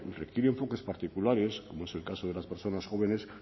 requiere enfoques particulares como es el caso de las personas jóvenes